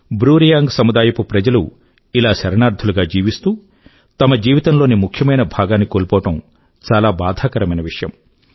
Bru Reang సముదాయపు ప్రజలు ఇలా శరణార్థులు గా జీవిస్తూ తమ జీవితం లోని ముఖ్యమైన భాగాన్ని కోల్పోవడం చాలా బాధాకరమైన విషయం